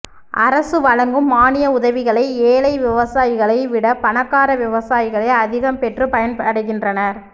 அரசு வழங்கும் மானிய உதவிகளை ஏழை விவசாயிகளை விட பணக்கார விவசாயிகளே அதிகம் பெற்று பயன் அடைகின்றனர்